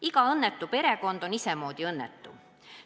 Iga õnnetu perekond on isemoodi õnnetu.